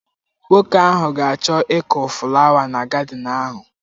Nwoke ahụ ga achọ ịkụ fụlawa na gadịn ahụ.